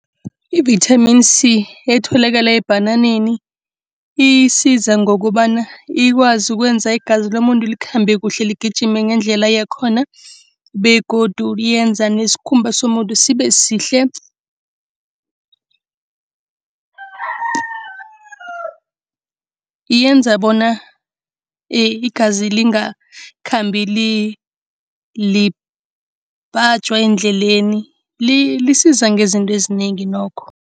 Ivithamini C etholakala ebhananeni, isiza ngokobana ikwazi ukwenza igazi lomuntu likhambe kuhle ligijime ngendlela yakhona begodu lenza nesikhumba somuntu sibe sihle. Yenza bona igazi lingakhambi libhajwa endleleni. Lisiza ngezinto ezinengi nokho.